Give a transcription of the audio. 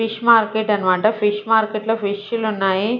Fish market అన్నమాట fish market లో ఫిష్లు ఉన్నాయి.